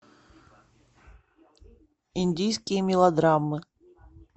индийские мелодрамы